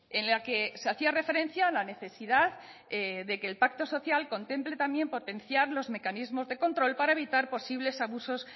en la que se hacía referencia a la necesidad de que el pacto social contemple también potenciar los mecanismos de control para evitar posibles abusos